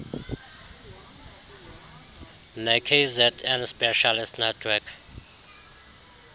nekzn specialist network